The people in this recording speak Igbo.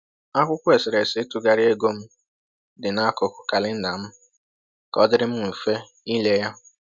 Akwụkwọ eserese ịtụgharị ego m dị n’akụkụ kalenda m ka ọdịrị mfe ile ya